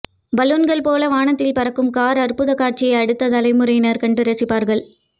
பலூன்கள் போல வானத்தில் கார் பறக்கும் அற்புத காட்சியை அடுத்த தலைமுறையினர் கண்டு ரசிப்பார்கள்